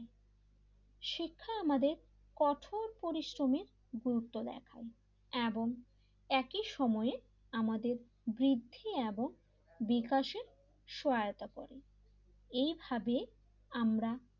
শিক্ষা আমাদের কঠোর পরিশ্রমের ভূমিকা দেখা এবং একই সময়ের আমাদের বৃদ্ধি এবং বিকাশের সহায়তা করে এইভাবে আমরা,